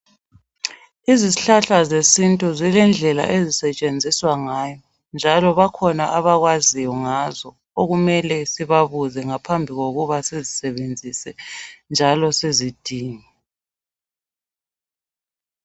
Izihlahla zesintu zilendlela ezisetshenziswa ngayo ,njalo bakhona abakwaziyo ngazo okumele sibabuze ngaphambi kokuba sizisebenzise njalo sizidinge